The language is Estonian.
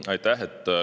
Aitäh!